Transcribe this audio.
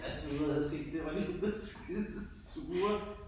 Altså nu havde jeg set det var lidt ude var skidesure